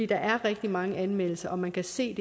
der er rigtig mange anmeldelser og man kan se